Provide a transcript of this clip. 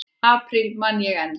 apríl man ég enn.